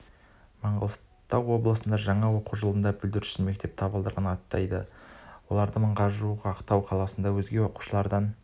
маңғыстау облысында жаңа оқу жылында бүлдіршін мектеп табалдырығын аттайды олардың мыңға жуығы ақтау қаласында өзге оқушылардан